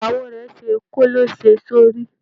Ìyàwó rẹ̀ ṣe kòlẹ́sẹ̀ sórí.